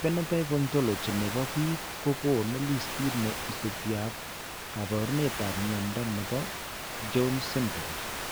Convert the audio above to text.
Phenotype Ontology ne po biik ko konu listiit ne isubiap kaabarunetap mnyando ne po Jones syndrome.